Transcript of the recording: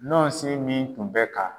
Nɔɔnsin min tun bɛ ka